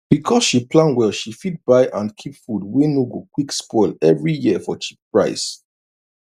because she plan well she fit buy and keep food wey no go quick spoil every year for cheap price